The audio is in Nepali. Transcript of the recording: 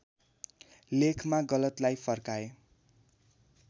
लेखमा गलतलाई फर्काए